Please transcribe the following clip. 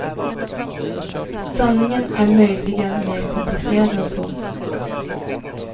Sanningen är möjligen mer komplicerad än så.